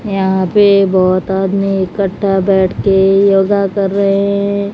यहां पे बहोत आदमी इकट्ठा बैठ के योगा कर रहे हैं।